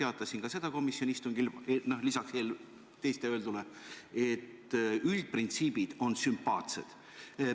Ja ma teatasin ka seda komisjoni istungil lisaks teiste öeldule, et üldprintsiibid on sümpaatsed.